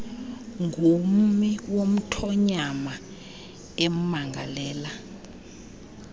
ngummi womthonyama emangalela